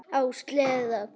Á sleða.